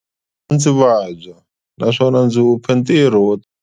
A ndzi vabya naswona ndzi hupe ntirho wo.